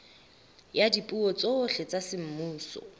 ya dipuo tsohle tsa semmuso